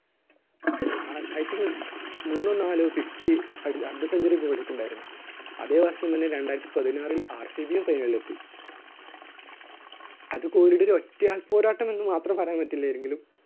Ah I think മൂന്നോ നാലോ fifty അടി~ അർദ്ധ സെഞ്ച്വറി കോഹ്‌ലിക്ക് ഉണ്ടായിരുന്നു. മൂന്നോ നാലോ fifty അർദ്ധ സെഞ്ച്വറി കോഹ്‌ലിക്ക് ഉണ്ടായിരുന്നു. അതെ വർഷം തന്നെ രണ്ടായിരത്തി പതിനാറിൽ RCB യില്‍ final ല്‍ എത്തി. അത് കോഹ്‌ലിയുടെ ഒരു ഒറ്റ ആൾ പോരാട്ടം എന്ന് മാത്രം എന്ന് പറയാൻ പറ്റില്ല, എങ്കിലും